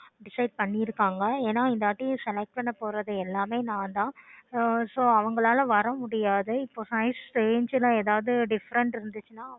Change பண்ண முடியாதுலயா உடனே போய் changeDecide பண்ணி இருக்காங்க என்ன இந்தவாட்டி select பண்ணப்போறது எல்லாமே நான்தான் so அவங்களால வரமுடியாது இப்போ size change ல எதாவது Different இருந்துச்சுன்னா